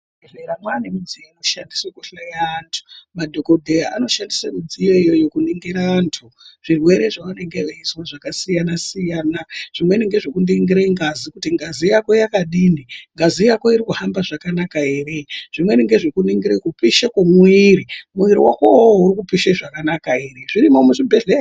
Muzvibhedhlera mwaane midziyo inoshandiswe kuhloya antu. Madhokodheya anoshandiswe midziyo iyoyo kuningire antu, zvirwere zvavanenge veizwa zvakasiya-siyana . Zvimweni nezvekuningire ngazi, kuti ngazi yako yakadini, ngazi yako iri kufamba zvakanaka ere. Zvimweni ngezvekuningire kupishe kwemwiri. Mwiiri wako uwowo uri kupishe zvakanaka ere. Zvirimwo muzvibhedhleya.